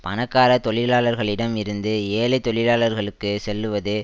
பணக்கார தொழிலாளர்களிடம் இருந்து ஏழை தொழிலாளருக்கு செல்லுவது